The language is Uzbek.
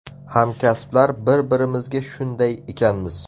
Hamkasblar bir-birimizga shunday ekanmiz.